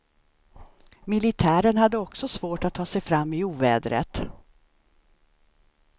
Militären hade också svårt att ta sig fram i ovädret.